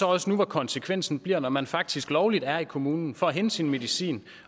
også nu hvor konsekvensen bliver at man når man faktisk lovligt er i kommunen for at hente sin medicin